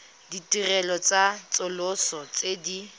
ditirelo tsa tsosoloso tse di